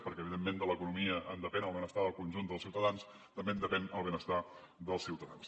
perquè evidentment de l’economia en depèn el benestar del conjunt dels ciutadans també en depèn el benestar dels ciutadans